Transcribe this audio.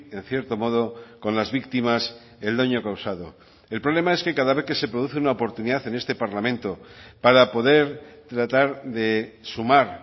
en cierto modo con las víctimas el daño causado el problema es que cada vez que se produce una oportunidad en este parlamento para poder tratar de sumar